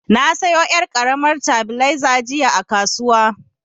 Na sayo yar' karamar tabileza jiya a kasuwa.